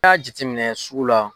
Ni y'a jatɛminɛ sugu la.